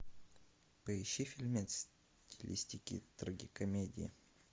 поищи фильмец в стилистике трагикомедии